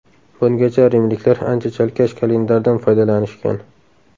Bungacha rimliklar ancha chalkash kalendardan foydalanishgan.